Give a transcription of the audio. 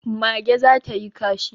Mage za ta yi kashi